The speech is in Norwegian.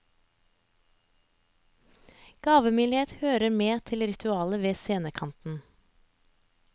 Gavmildhet hører med til ritualet ved scenekanten.